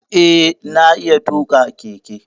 Eh, na iya tuƙa keke.